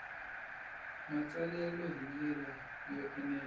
matsalelo hi ndlela yo enela